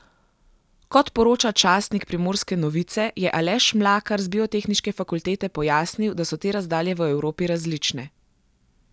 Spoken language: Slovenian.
Kot poroča časnik Primorske novice, je Aleš Mlakar z biotehniške fakultete pojasnil, da so te razdalje v Evropi različne.